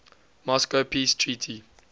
moscow peace treaty